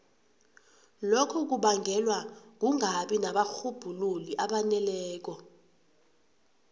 lokhu kubangelwa kungabi nabarhubhululi abaneleko